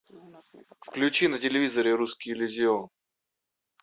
включи на телевизоре русский иллюзион